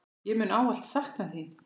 Ég mun ávallt sakna þín.